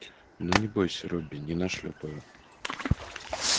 ну не бойся робби не нашлёпаю